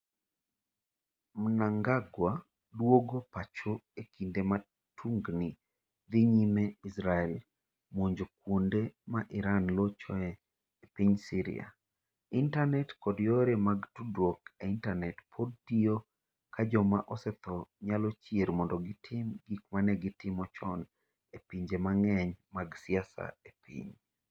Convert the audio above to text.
Mnangagwa duogo pacho e kinde ma tungni dhi nyime Israel monjo kuonde ma Iran lochoe e piny Syria Intanet kod yore mag tudruok e intanet pod tiyo ka joma osetho nyalo chier mondo gitim gik ma ne gitimo chon e pinje mang'eny mag siasa e piny.